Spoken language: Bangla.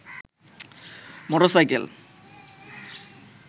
মোটরসাইকেল